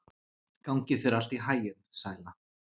Gangi þér allt í haginn, Sæla.